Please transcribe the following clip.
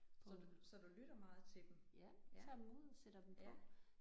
Så du så du lytter meget til dem? Tager dem ud sætter dem på?